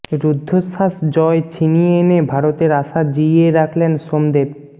রুদ্ধশ্বাস জয় ছিনিয়ে এনে ভারতের আশা জিইয়ে রাখলেন সোমদেব